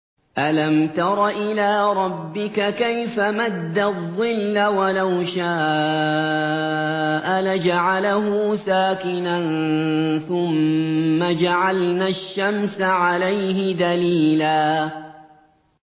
أَلَمْ تَرَ إِلَىٰ رَبِّكَ كَيْفَ مَدَّ الظِّلَّ وَلَوْ شَاءَ لَجَعَلَهُ سَاكِنًا ثُمَّ جَعَلْنَا الشَّمْسَ عَلَيْهِ دَلِيلًا